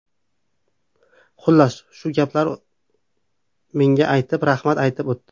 Xullas, u shu gaplarni menga aytib, rahmat aytib o‘tdi.